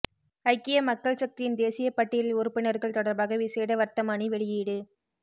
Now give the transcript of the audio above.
ஐக்கிய மக்கள் சக்தியின் தேசியப்பட்டியல் உறுப்பினர்கள் தொடர்பாக விசேட வர்த்தமானி வெளியீடு